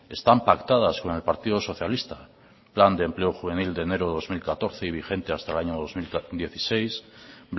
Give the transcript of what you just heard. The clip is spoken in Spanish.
están pactadas con el partido socialista plan de empleo juvenil de enero dos mil catorce y vigente hasta el año dos mil dieciséis